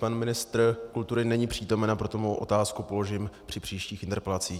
Pan ministr kultury není přítomen, a proto svou otázku položím při příštích interpelacích.